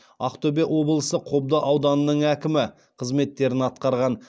ақтөбе облысы қобда ауданының әкімі қызметтерін атқарған